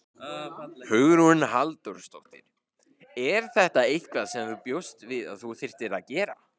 Hugrún Halldórsdóttir: Er þetta eitthvað sem þú bjóst við að þú þyrftir að gera?